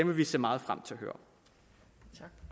vi se meget frem til at høre